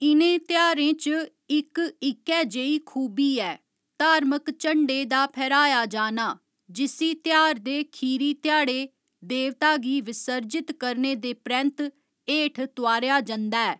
इ'नें तेहारें च इक इक्कै जेही खूबी ऐ धार्मक झंडे दा फैह्‌राया जाना जिस्सी तेहार दे खीरी ध्याड़े देवता गी विसर्जित करने दे परैंत्त हेठ तोआरेआ जंदा ऐ।